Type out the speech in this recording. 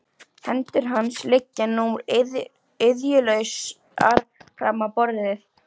Hendur hans liggja nú iðjulausar fram á borðið.